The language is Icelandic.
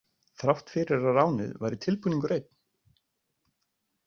Þrátt fyrir að ránið væri tilbúningur einn.